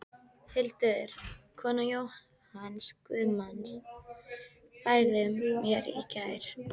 Hildur, kona Jóhanns guðsmanns, færði mér í gær.